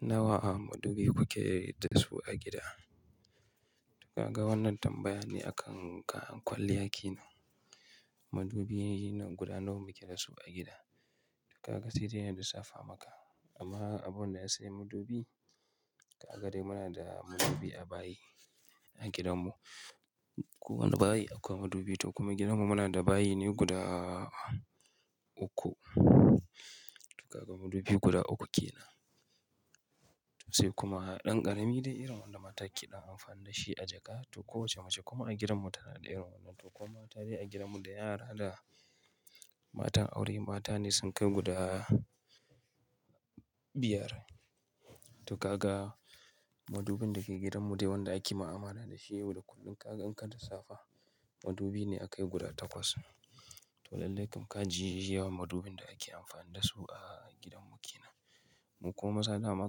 Nawa madubi kuke da su a gida? Duka ga wannan tambaya ne akan ka kwalliya ki nan. Madubi guda nawa muke da su a gida? Duk ka ga sai dai na lissafa maka. Amma abun da ya sayi madubi, a gare mu muna da madubi a bayi a gidanmu. Ko wane bayi akwai madubi to kuma gidanmu muna da bayi ne guda uku. Duka ga madubi guda uku ke nan. To sai kuma ɗan ƙarami dai irin wanda mata ke ɗan amfani da shi a jaka to kowace mace kuma a gidanmu tana da irin wannan. To kuma tari a gidanmu da yara da matan aure mata ne sun kai guda biyar. To kaga madubin da ke gidanmu dai wanda ake mu'amala da shi yau da kullum kaga in ka tafi safe madubi ne aka yi guda takwas. To lallai kam ka ji yawan madubin da ake amfani da su a gidanmu ke nan. Mu kuma maza amma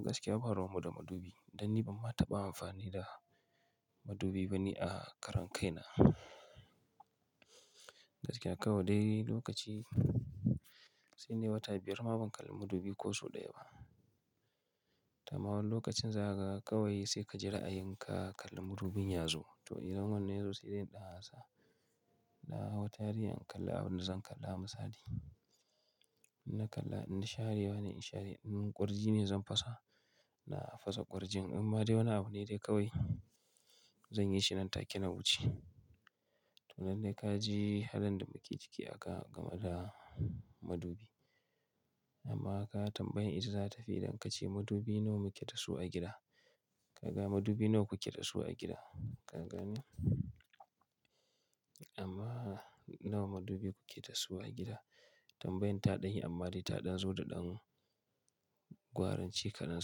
gaskiya ba ruwan mu da madubi. Dan ni ban ma taɓa amfani da madubi ba ne a karan kai na. Gaskiya kawai dai lokaci sai dai wata biyar ma ban kalla madubi ko sau ɗaya ba. Ta ma wan lokacin zagawa kawai sai ka jira a yanka kallan madubin yazo. To idan wannan yazo sai dai in ɗan hasa. Na hau tari in kalla abin da zan kalla masa dai. In na kalla idan sharewa ne in share. In ƙwarji ne zan fasa, na fasa ƙwarjin. Amma dai wannan abu ne dai kawai zan yi shi nan take na wuce. To lallai ka ji halin da muke ciki aka gama da madubi. Amma ka tambayi ita za ta fi dankan ce madubi nawa muke da su a gida. Kaga madubi nawa kuke da su a gida? Ka gane? Amma nawa madubi kuke da su a gida? Tambayan ta ɗan yi amma dai ta ɗan zo da ɗan gwaranci ka nan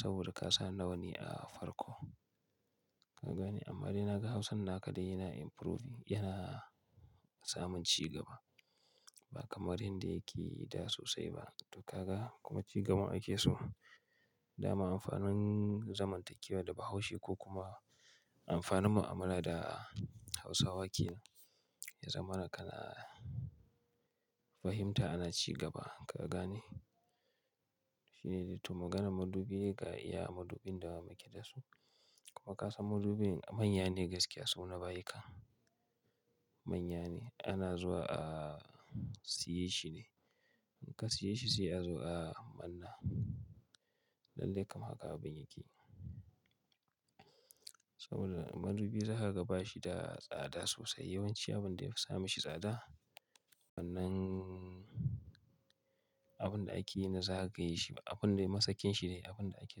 saboda ka sa nawa ne a farko. Ka gane? Amma dai na ga Hausan naka dai yana improving, yana samun cigaba. Ba kamar yanda yake da sosai ba. Duka ga kuma cigaban ake so. Da ma amfanin zamantakewa da Bahaushe ko kuma amfanin mu'amala da Hausawa ke zamana kana fahimta ana cigaba. Ka gane? Shi ne dai. To maganar madubi ga iya madubin da muke da su. Kuma ka san madubin manya ne gaskiya su na bayika. Manya ne ana zuwa a siye shi ne. In ka siye shi sai a zo a manna. Lallai kam haka abin yake. Saboda madubi za ka bashi da tsada sosai. Yawanci abun da ya fi sa mishi tsada wannan abun da ake yana zaka yi shi. Abun dai masakin shi ne abun da ake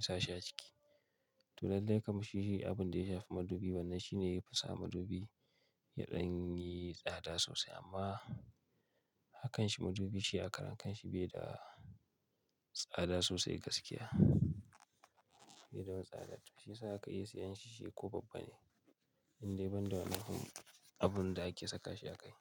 sashi a ciki. To lallai kam shi shi abun da ya shafi madubi wannan shi ne ya fi sa madubi yaɗan yi tsada sosai. Amma hakan shi madubi shi a karen kanshi bai da tsada sosai gaskiya. Bai da wani tsada. To shi sa aka iya siyan shi shi ko babban ne. Indai banda wannan kuma abun da ake sakashi a kai.